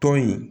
Tɔn in